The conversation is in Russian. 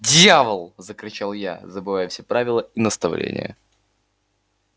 дьявол закричал я забывая все правила и наставления